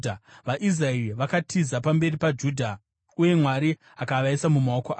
VaIsraeri vakatiza pamberi paJudha uye Mwari akavaisa mumaoko avo.